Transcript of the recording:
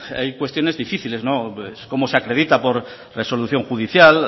hay cuestiones difíciles cómo se acredita por resolución judicial